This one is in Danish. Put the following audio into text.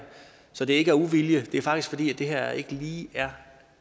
så det er ikke af uvilje det er faktisk fordi det her ikke lige